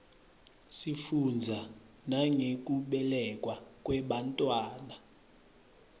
sifundza nangekubelekwa kwebantfwana